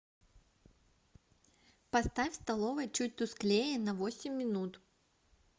поставь в столовой чуть тусклее на восемь минут